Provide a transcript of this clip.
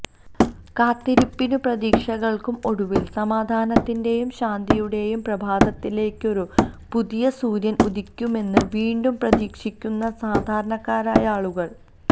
കാത്തിരിപ്പിനും പ്രതീക്ഷകള്ക്കും ഒടുവില് സമാധാനത്തിന്റെയും ശാന്തിയുടെയും പ്രഭാതത്തിലെക്കൊരു പുതിയ സൂര്യന് ഉദിക്കുമെന്ന് വീണ്ടും പ്രതീക്ഷിക്കുന്ന സാധാരണക്കാരായ ആളുകള്